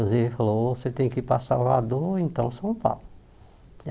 Inclusive falou, você tem que ir para Salvador, ou então São Paulo.